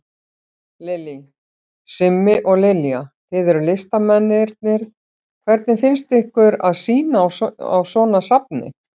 Lillý: Simmi og Lilja, þið eruð listamennirnir, hvernig finnst ykkur að sýna á svona safni?